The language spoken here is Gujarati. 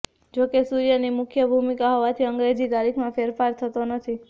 જોકે સૂર્યની મુખ્ય ભૂમિકા હોવાથી અંગ્રેજી તારીખમાં ફેરફાર થતો નથી